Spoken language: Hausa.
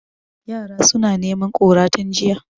Yara suna neman kura tun jiya